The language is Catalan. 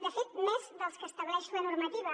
de fet més dels que estableix la normativa